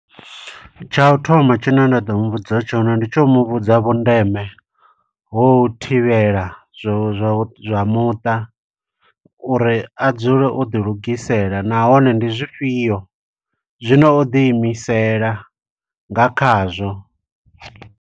Tsha u thoma tshine nda ḓo mu vhudza tshone, ndi tsho u mu vhudza vhundeme ho u thivhela zwo zwa zwa muṱa, uri a dzule o ḓi lugisela. Nahone ndi zwifhio zwino o ḓi imisela nga khazwo.